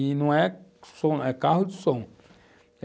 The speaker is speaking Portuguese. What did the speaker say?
E não é som, é carro de som.